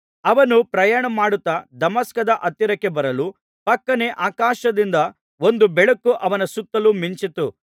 ಅವನು ಪ್ರಯಾಣ ಮಾಡುತ್ತಾ ದಮಸ್ಕದ ಹತ್ತಿರಕ್ಕೆ ಬರಲು ಫಕ್ಕನೆ ಆಕಾಶದಿಂದ ಒಂದು ಬೆಳಕು ಅವನ ಸುತ್ತಲು ಮಿಂಚಿತು